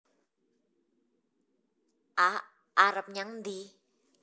A arep nyang endi